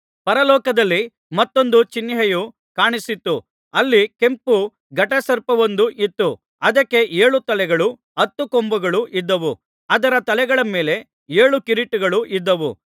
ಪರಲೋಕದಲ್ಲಿ ಮತ್ತೊಂದು ಚಿಹ್ನೆಯು ಕಾಣಿಸಿತು ಅಲ್ಲಿ ಕೆಂಪು ಘಟಸರ್ಪವೊಂದು ಇತ್ತು ಅದಕ್ಕೆ ಏಳು ತಲೆಗಳೂ ಹತ್ತು ಕೊಂಬುಗಳು ಇದ್ದವು ಅದರ ತಲೆಗಳ ಮೇಲೆ ಏಳು ಕಿರೀಟಗಳು ಇದ್ದವು